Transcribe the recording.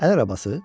Əl arabası?